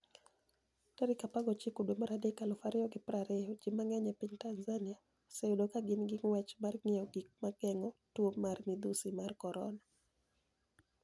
19 dwe mar adek 2020 Ji manig'eniy e piniy Tanizaniia, oseyudo ka gini e nig'wech mar nig'iewo gik mag genig'o tuo marmidhusi mar koronia.